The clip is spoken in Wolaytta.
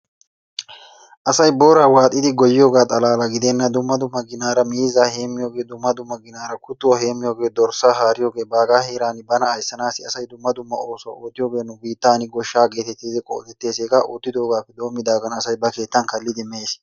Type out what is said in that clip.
Asay booraa waaxxidi goyiyoogaa xalaala gidenna dumma dumma ginaara miizzaa heemiyoogee, dumma dumma ginaara kuttuwaa heemiyoogee, dorssaa haariyoogee baagaa heeran bana aysanaasi issi asay dumma dumma oosuwa oottiyoogee nu biittan goshshaa geetettidi qodettees. Hegaa oottidoogaappe doomidaagan asay ba keettan kalidi mees.